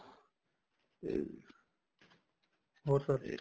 ਹੋਰ sir